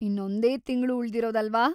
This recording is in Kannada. ಇನ್ನೊಂದೇ ತಿಂಗ್ಳು ಉಳ್ದಿರೋದಲ್ವಾ?